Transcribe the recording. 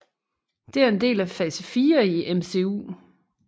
Det er en del af fase fire i MCU